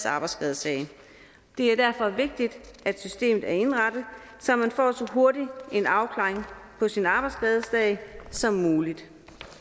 arbejdsskadesag det er derfor vigtigt at systemet er indrettet så man får så hurtig en afklaring på sin arbejdsskadesag som muligt